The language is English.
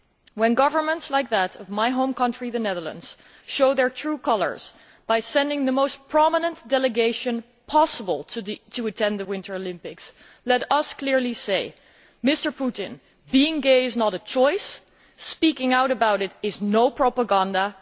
When governments like that of my home country, the Netherlands, show their true colours by sending the most prominent delegation possible to attend the Winter Olympics, let us clearly say Mr Putin, being gay is not a choice, and speaking out about it is not propaganda.